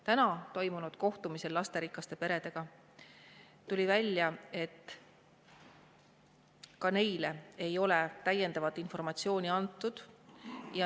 Täna toimunud kohtumisel lasterikaste peredega tuli välja, et ka neile ei ole täiendavat informatsiooni antud.